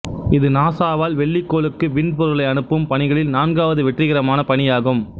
இது நாசாவால் வெள்ளி கோளுக்கு விண் பொருள்களை அனுப்பும் பணிகளில் நான்காவது வெற்றிகரமான பணி ஆகும்